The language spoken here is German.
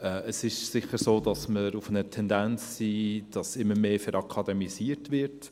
Es ist sicher so, dass wir eine Tendenz haben, dass immer mehr verakademisiert wird.